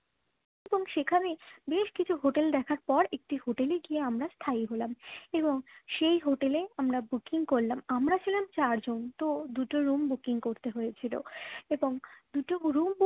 এবং সেখানে বেশ কিছু হোটেল দেখার পর একটি হোটেলে গিয়ে আমরা স্থায়ী হলাম এবং সেই হোটেলে আমরা booking করলাম আমরা ছিলাম চারজন তো দুটো room booking করতে হয়েছিল এবং দুটো room book